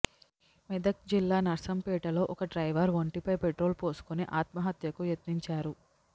మెదక్ జిల్లా నర్సంపేటలో ఒక డ్రైవర్ ఒంటిపై పెట్రోల్ పోసుకుని ఆత్మహత్యకు యత్నించారు